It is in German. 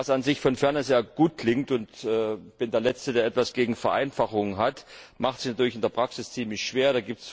Was an sich aus der Ferne sehr gut klingt und ich bin der Letzte, der etwas gegen Vereinfachung hat macht sich natürlich in der Praxis ziemlich schwer.